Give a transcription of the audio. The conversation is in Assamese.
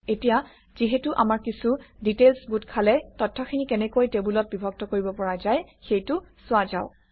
এতিয়া যিহেতু আমাৰ কিছু ডিটেইলছ্ গোট খালে তথ্যখিনি কেনেকৈ টেবুলত বিভক্ত কৰিব পৰা যায় সেইটো চোৱা যাওক